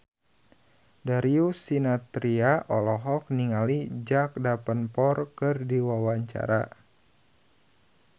Darius Sinathrya olohok ningali Jack Davenport keur diwawancara